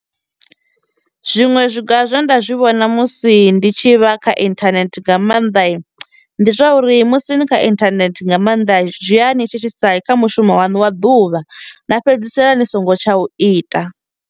Zwiṅwe zwiga zwe nda zwi vhona musi ndi tshi vha kha inthanethe nga maanḓa, ndi zwauri musi ni kha inthanethe nga maanḓa zwia thithisa kha mushumo wanu wa ḓuvha na fhedzisela ni songo tsha u ita.